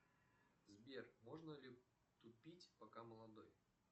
сбер можно ли тупить пока молодой